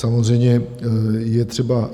Samozřejmě je třeba...